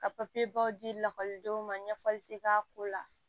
Ka baw di lakɔlidenw ma ɲɛfɔli te k'a ko la